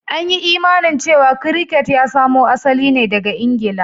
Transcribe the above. An yi imanin cewa Cricket ya samo asali ne daga Ingila